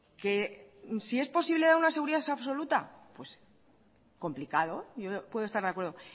que si es posible dar una seguridad absoluta complicado yo puedo estar de acuerdo